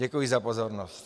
Děkuji za pozornost.